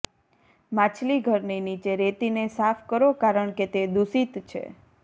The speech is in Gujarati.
માછલીઘરની નીચે રેતીને સાફ કરો કારણકે તે દૂષિત છે